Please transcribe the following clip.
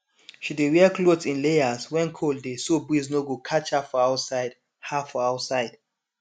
she dey wear cloth in layers when cold dey so breeze no go catch her for outside her for outside